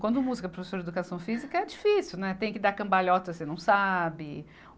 Quando música a professora de Educação Física, é difícil, né, tem que dar cambalhota e você não sabe.